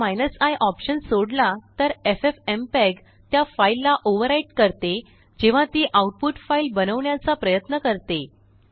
जर i option सोडला तरffmpeg त्याफाइललाओवरराइट करते जेव्हा तीआउटपुट फाइल बनवण्याचा प्रयत्न करते